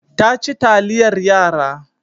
Ta ci taliyar yara.